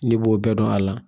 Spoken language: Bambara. Ne b'o bɛɛ dɔn a la